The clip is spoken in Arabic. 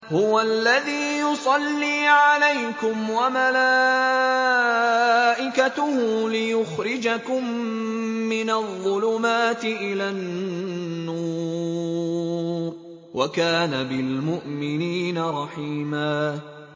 هُوَ الَّذِي يُصَلِّي عَلَيْكُمْ وَمَلَائِكَتُهُ لِيُخْرِجَكُم مِّنَ الظُّلُمَاتِ إِلَى النُّورِ ۚ وَكَانَ بِالْمُؤْمِنِينَ رَحِيمًا